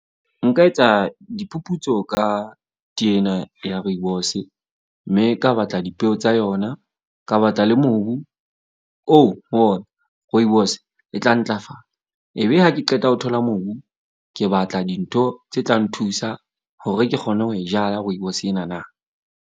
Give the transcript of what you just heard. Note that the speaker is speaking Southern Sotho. Nka etsa diphuputso ka tee ena ya rooibos-e. Mme ka batla dipeo tsa yona. Ka batla le mobu oo ho ona rooibos e tla ntlafala. Ebe ha ke qeta ho thola mobu. Ke batla dintho tse tla nthusa hore ke kgone ho e jala rooibos ena na.